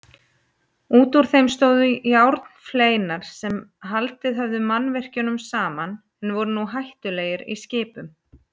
Útúr þeim stóðu járnfleinar sem haldið höfðu mannvirkjunum saman en voru nú hættulegir skipum.